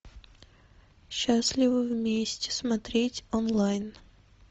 счастливы вместе смотреть онлайн